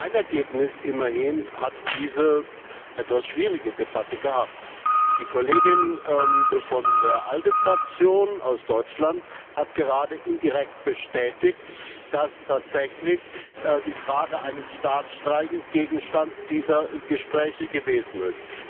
Ein Ergebnis hat diese etwas schwierige Debatte immerhin gehabt. Die Kollegin von der ALDE Fraktion aus Deutschland hat gerade indirekt bestätigt, dass tatsächlich die Frage eines Staatsstreichs Gegenstand dieser Gespräche gewesen ist.